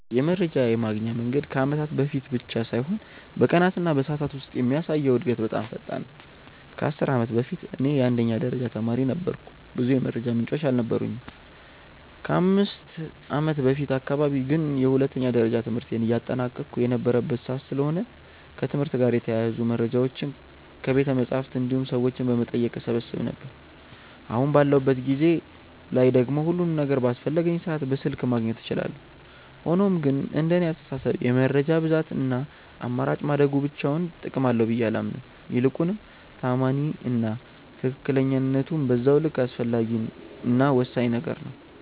የመረጃ የማግኛ መንገድ ከአመታት በፊት ብቻ ሳይሆን በቀናት እና በሰዓታት ውስጥ የሚያሳየው እድገት በጣም ፈጣን ነው። ከ10 አመት በፊት እኔ የአንደኛ ደረጃ ተማሪ ነበርኩ ብዙ የመረጃ ምንጮች አልነበሩኝም። ከ5ከአመት በፊት አካባቢ ግን የሁለተኛ ደረጃ ትምህርቴን እያጠናቀቅሁ የነበረበት ሰዓት ስለሆነ ከትምህርት ጋር የተያያዙ መረጃዎችን ከቤተመፅሀፍት እንዲሁም ሰዎችን በመጠየቅ እሰበስብ ነበር። አሁን ባለሁበት ጊዜ ላይ ደግሞ ሁሉም ነገር በአስፈለገኝ ሰዓት በስልክ ማግኘት እችላለሁ። ሆኖም ግን እንደኔ አስተሳሰብ የመረጃ ብዛት እና አማራጭ ማደጉ ብቻውን ጥቅም አለው ብዬ አላምንም። ይልቁንም ተአማኒ እና ትክክለኝነቱም በዛው ልክ አስፈላጊ እና ወሳኝ ነገር ነው።